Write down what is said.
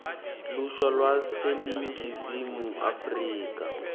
lusha lwaseningizimu afrika